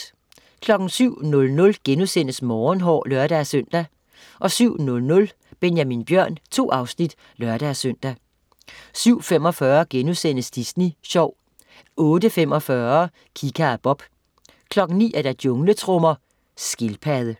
07.00 Morgenhår* (lør-søn) 07.00 Benjamin Bjørn 2 afsnit (lør-søn) 07.45 Disney Sjov* 08.45 Kika og Bob 09.00 Jungletrommer. Skildpadde